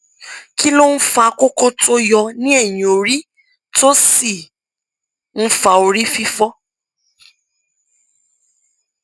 kí ló ń fa kókó tó yọ ní ẹyìn orí tó sì ń fa orí fífọ